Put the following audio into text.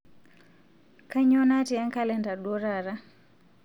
kainyoo natii enkalenda duo taata